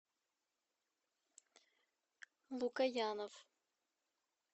лукоянов